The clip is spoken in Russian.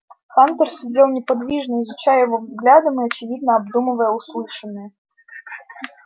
хантер сидел неподвижно изучая его взглядом и очевидно обдумывая услышанное